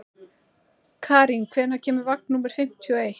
Karín, hvenær kemur vagn númer fimmtíu og eitt?